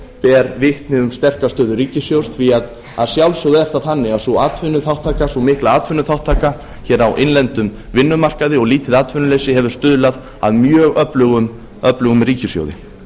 ber vitni um sterka stöðu ríkissjóðs því að að sjálfsögðu er það þannig að sú mikla atvinnuþátttaka hér á innlendum vinnumarkaði og lítið atvinnuleysi hefur stuðlað að mjög öflugum ríkissjóði